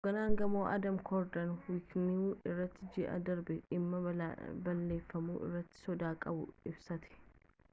hogganaan gamoo adam cuerden wikinews irratti ji'a darbe dhimma balleeffamuu irratti sodaa qabu ibsate